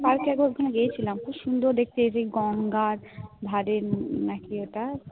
পার্কে একবার তো গিয়েছিলাম কি সুন্দর দেখতে সেই গঙ্গার ধারে আহ কি একটা